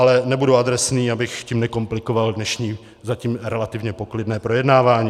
Ale nebudu adresný, abych tím nekomplikoval dnešní, zatím relativně poklidné, projednávání.